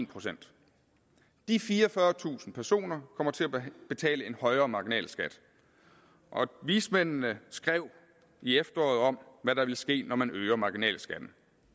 procent de fireogfyrretusind personer kommer til at betale en højere marginalskat og vismændene skrev i efteråret om hvad der ville ske når man øger marginalskatten